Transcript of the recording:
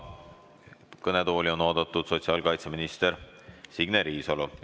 Kõnetooli on oodatud sotsiaalkaitseminister Signe Riisalu.